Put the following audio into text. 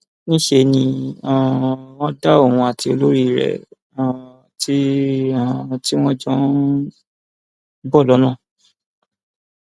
níṣẹ ni um wọn dá òun àti olórí rẹ um tí um tí wọn jọ ń bọ lọnà